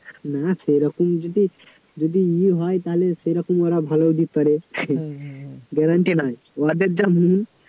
না সেরকম যদি যদি ই হয় তাহলে সেরকম ওরা ভালো দিতে পারে garranty নাই উহাদের যা মন